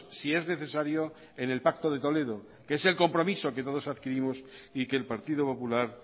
si es necesario en el pacto de toledo que es el compromiso que todos adquirimos y que el partido popular